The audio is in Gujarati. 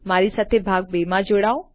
મારી સાથે ભાગ ૨ માં જોડાવો